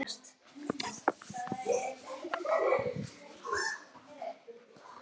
Slíkt má ekki gerast.